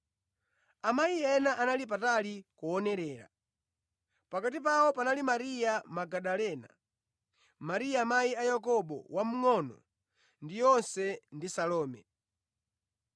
Amayi ena anali patali kuonerera. Pakati pawo panali Mariya Magadalena, Mariya amayi a Yakobo wamngʼono ndi Yose ndi Salome.